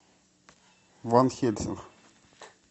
ван хельсинг